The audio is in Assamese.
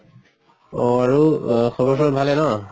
অহ আৰু খবৰ চবৰ ভালে ন?